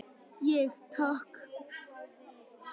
Ég: Takk.